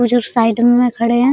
वो जो साइड में खड़े हैं।